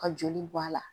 Ka joli bɔ a la